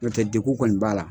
Nɔ tɛ degun kɔni b'a la.